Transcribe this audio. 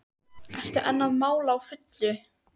Ertu enn að mála á fullu?